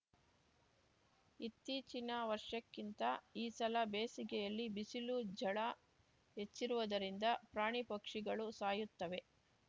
ಇತ್ತೀಚಿನ ವರ್ಷಕ್ಕಿಂತ ಈ ಸಲ ಬೇಸಿಗೆಯಲ್ಲಿ ಬಿಸಿಲು ಝಳ ಹೆಚ್ಚಿರುವುದರಿಂದ ಪ್ರಾಣಿಪಕ್ಷಿಗಳು ಸಾಯುತ್ತವೆ